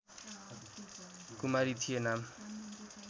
कुमारी थिए नाम